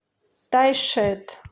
тайшет